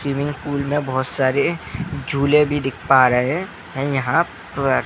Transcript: Swimming pool मे बहोत सारे झूलें भी दिख पा रहे हैं यहाँ पर।